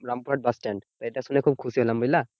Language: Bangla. রামপুরহাট বাসস্ট্যান্ড এটা শুনে খুব খুশি হলাম, বুঝলা?